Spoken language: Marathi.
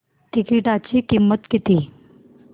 तिकीटाची किंमत किती